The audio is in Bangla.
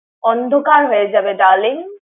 অন্ধকার হয়ে যাবে darling ।